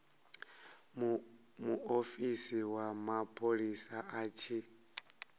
muofisi wa mapholisa a tshi